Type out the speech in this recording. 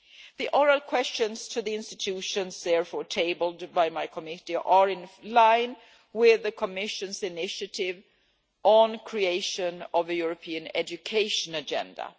The oral questions to the institutions therefore tabled by my Committee are in line with the Commission's initiative on the creation of the European education agenda.